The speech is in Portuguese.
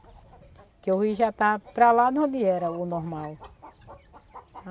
Porque o rio já está para lá de onde era o normal.